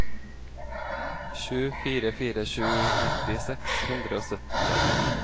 sju fire fire sju nitti seks hundre og syttitre